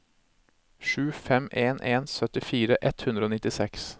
sju fem en en syttifire ett hundre og nittiseks